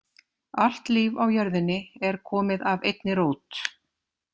Allt líf á jörðinni er komið af einni rót.